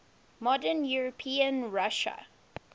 modern european russia